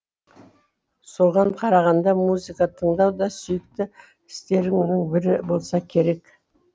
соған қарағанда музыка тыңдау да сүйікті істерінің бірі болса керек